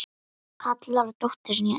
Kallar á dóttur sína inn.